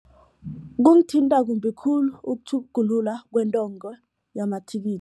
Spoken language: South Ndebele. Kungithinta kumbi khulu ukutjhugulula yamathikithi.